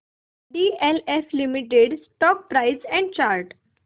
DLF limited stock price and chart